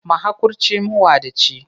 Mahakurci, mawadaci.